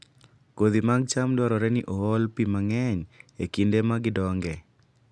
Kodhi mag cham dwarore ni ool pi mang'eny e kinde ma gidongoe